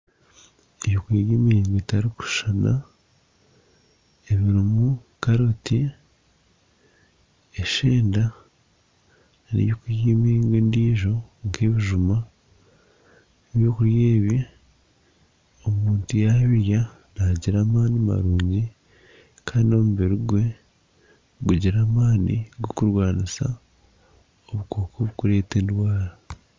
Eby'okurya by'emiringo etarikushushana ebirimu karoti, eshenda neby’okurya eby'emiringo endiijo nk'ebijuma. Eby'okurya ebi omuntu yabirya nagira amaani marungi kandi omubiri gwe gugira maani g'okurwanisa obukooko obukureeta endwara.